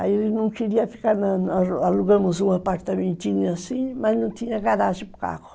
Aí ele não queria ficar, alugando um apartamentinho assim, mas não tinha garagem para o carro.